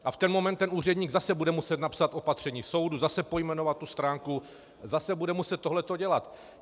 A v ten moment ten úředník zase bude muset napsat opatření soudu, zase pojmenovat tu stránku, zase bude muset tohleto dělat.